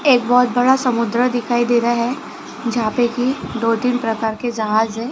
एक बहोत बड़ा समुद्र दिखाई दे रहा है जहां पे की दो तीन प्रकार के जहाज है।